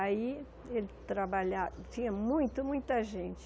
Aí ele trabalha, tinha muito, muita gente.